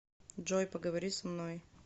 джой поговори со мной